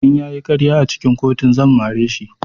In ya yi ƙarya a cikin kotun zan mare shi.